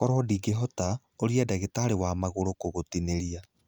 Koro ndũngĩhota, ũria ndagĩtarĩ wamagũrũ(podiatrist) kũgũtinĩria.